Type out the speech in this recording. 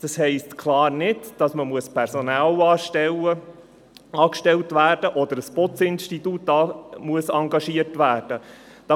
Das heisst ganz klar nicht, dass man Personal anstellen oder ein Putzinstitut engagiert werden muss.